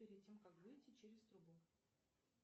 перед тем как выйти через трубу